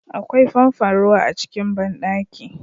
Akwai famfon ruwa a cikin banɗaki